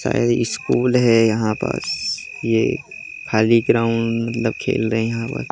शायद स्कूल है यहाँ पस ये खाली ग्राउन्ड लोग खेल रहे है यहाँ पर।